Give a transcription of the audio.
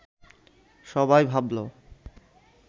সবাই ভাবল